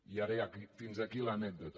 i ara ja fins aquí l’anècdota